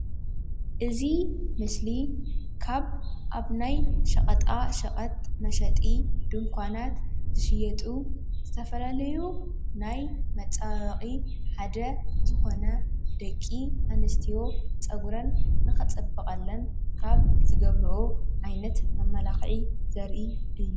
እዚ ምስሊ ካብ ኣብ ናይ ሸቐጣ ሸቐጥ መሸጢ ድንኳናት ዝሽየጡ ዝተፈላለዩ ናይ መፀባበቒ ሓደ ዝኾነ ደቂ ኣንስትዮ ፀጉረን ንኽፅብቐለን ካብ ዝገብረኦ ዓይነት መመላኽዒ ዘርኢ እዩ፡፡